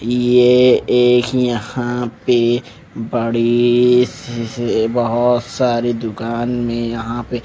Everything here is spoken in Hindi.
ये एक यहां पे बड़ी सी बहोत सारी दुकान में यहां पे--